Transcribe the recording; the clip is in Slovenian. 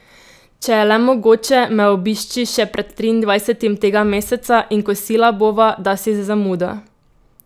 Če je le mogoče, me obišči še pred triindvajsetim tega meseca in kosila bova, dasi z zamudo.